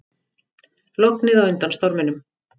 Lognið á undan storminum